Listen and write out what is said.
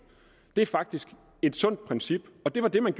det er faktisk et sundt princip og det var det man